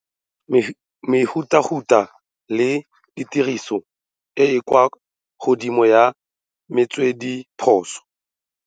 Mehutahuta le tiriso e e kwa godimo ya metswedithuso.